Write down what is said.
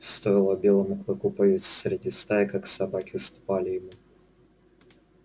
стоило белому клыку появиться среди стаи как собаки уступали ему